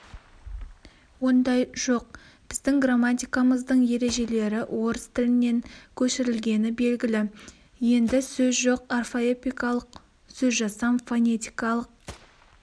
ондай жоқ біздің грамматикамыздың ережелері орыс тілінен көшірілгені белгілі енді сөз жоқ орфоэпикалық сөзжасам фонетикалық